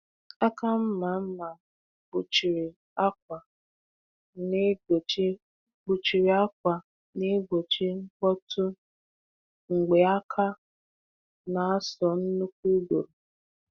Aka mma mma kpuchiri akwa na-egbochi kpuchiri akwa na-egbochi mkpọtụ mgbe aka na-asọ n’uku uguru